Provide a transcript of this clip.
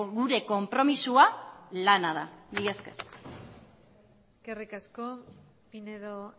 gure konpromisoa lana da mila esker eskerrik asko pinedo